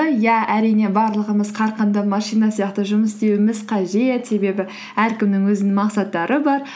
иә әрине барлығымыз қарқынды машина сияқты жұмыс істеуіміз қажет себебі әркімнің өзінің мақсаттары бар